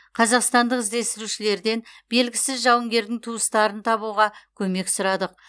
қазақстандық іздестірушілерден белгісіз жауынгердің туыстарын табуға көмек сұрадық